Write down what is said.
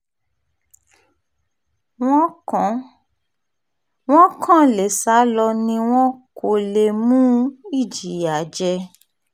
wọ́n kàn lè sá lọ ni wọn kò lè mú ìjìyà jẹ